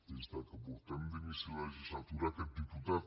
des que portem d’inici de legislatura aquest diputat